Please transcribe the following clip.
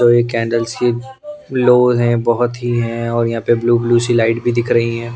तो ये कैंडल्स की लो हैं बहुत ही हैं और यहाँ पे ब्लू ब्लू सी लाइट भी दिख रही हैं ।